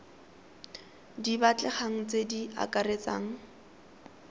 di batlegang tse di akaretsang